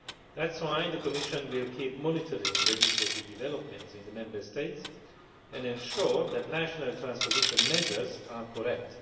That is why the Commission will keep monitoring legislative developments in the Member States and ensure that national transposition measures are correct.